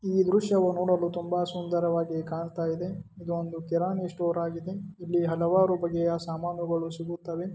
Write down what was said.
ದೃಶ್ಯವನ್ನು ನೋಡಲು ತುಂಬಾ ಸುಂದರವಾಗಿ ಕಾಣ್ತಾ ಇದೆ ಇದೊಂದು ಕಿರಾಣಿ ಸ್ಟೋರ್ ಆಗಿದೆ ಇಲ್ಲಿ ಹಲವಾರು ಬಗೆಯ ಸಾಮಾನುಗಳು ಸಿಗುತ್ತವೆ.